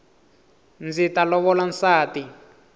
ndzi ta lovola nsati